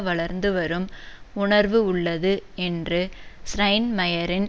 வளர்ந்துவரும் உணர்வு உள்ளது என்று ஸ்ரைன்மயரின்